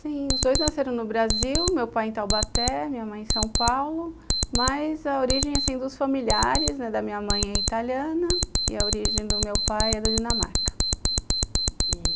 Sim, os dois nasceram no Brasil, meu pai em Talbaté, minha mãe em São Paulo, mas a origem dos familiares da minha mãe é italiana e a origem do meu pai é da Dinamarca.